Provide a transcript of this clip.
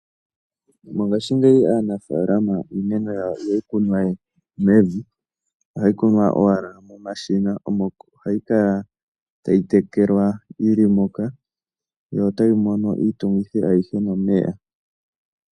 Mongashingeyi aanafaalama iimeno yawo ihayi kunwa we mevi. Ohayi kunwa owala momashina omo hayi kala tayi tekelwa yi li moka yo otayi mono iitungithi ayihe nomeya.